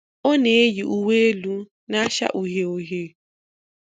Ọ na-eyi uwé élú n'acha uhié uhié.